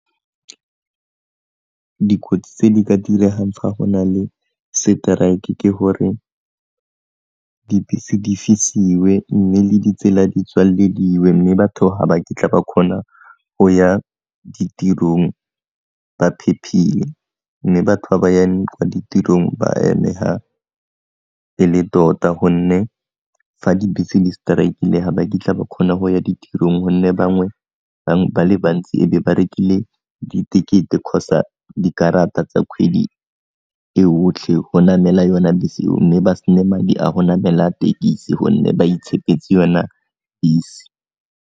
Dikotsi tse di ka diregang fa go na le seteraeke ke gore dibese di fisiwe mme le ditsela di tswelediwe mme batho ga ba kitla ba kgona go ya ditirong ba phephile, mme batho ba ba yang kwa ditirong ba eme ga e le tota gonne fa dibese di seteraekile ga ba kitla ba kgona go ya ditirong gonne bangwe bang ba le bantsi e be ba rekile ditekete kgotsa dikarata tsa kgwedi e yotlhe go namela yona bese eo mme ba sena madi a go namela tekisi gonne ba itshepetse yona bese.